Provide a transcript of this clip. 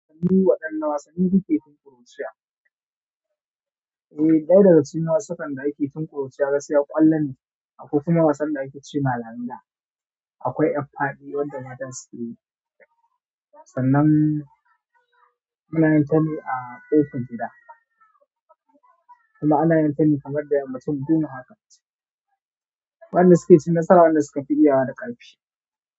Waɗanna wasanni kuke tin ƙuruciya? Eh, ɗaya daga cikin wasukan da ake tin ƙuruciya gaskiya ƙwallo ne, akwai kuma wasan da ake ce ma langa. Akwai yar fadi wanda mata sukeyi sannan ana yin ta ne a kofar gida kuma ana yinta ne kamar da yammaci wanda suke cin nasara sune wanda suka fi iya wa da karfi.